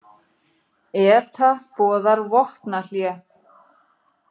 ETA boðar vopnahlé